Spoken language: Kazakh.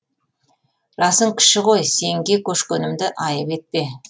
жасың кіші ғой сенге көшкенімді айып етпе